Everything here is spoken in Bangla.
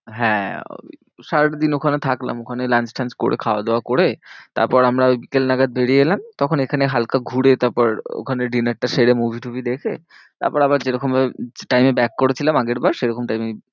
হ্যাঁ ওই সারাটাদিন ওখানে থাকলাম ওখানেই lunch টানছ করে খাওয়া দাওয়া করে, তারপর আমরা ওই বিকেল নাগাদ বেরিয়ে এলাম। তখন এখানে হালকা ঘুরে তারপর ওখানে dinner টা সেরে movie টুভি দেখে, তারপর আবার যেরকম time এ back করেছিলাম আগেরবার, সেরকম time এই